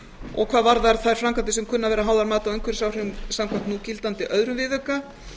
og hvað varðar þær framkvæmdir sem kunna að vera háðar mati á umhverfisáhrifum samkvæmt núgildandi öðrum viðauka